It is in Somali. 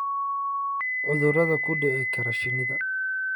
cudurada ku dhici kara shinida.